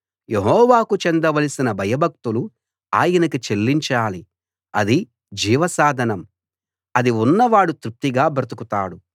యెహోవాకు చెందవలసిన భయభక్తులు ఆయనకి చెల్లించాలి అది జీవ సాధనం అది ఉన్న వాడు తృప్తిగా బ్రతుకుతాడు